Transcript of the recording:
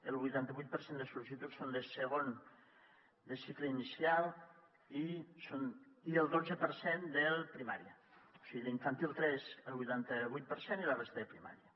el vuitanta vuit per cent de sol·licituds són de cicle inicial i el dotze per cent de primària o sigui d’infantil tres el vuitanta vuit per cent i la resta de primària